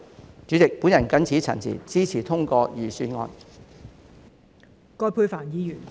代理主席，我謹此陳辭，支持通過預算案。